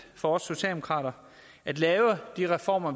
for os socialdemokrater at lave de reformer